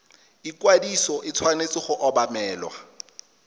ikwadiso e tshwanetse go obamelwa